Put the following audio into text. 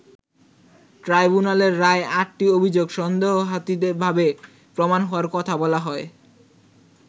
ট্রাইব্যুনালের রায়ে আটটি অভিযোগ সন্দেহাতীতভাবে প্রমাণ হওয়ার কথা বলা হয়।